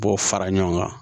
Bɔ fara ɲɔgɔn kan